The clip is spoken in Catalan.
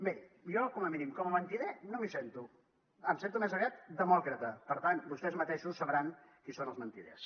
miri jo com a mínim mentider no me’n sento em sento més aviat demòcrata per tant vostès mateixos sabran qui són els mentiders